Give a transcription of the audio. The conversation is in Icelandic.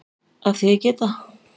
Af því að ég get það.